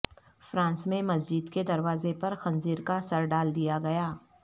France میں مسجد کے دروازہ پر خنزیرکا سرڈال دیاگیا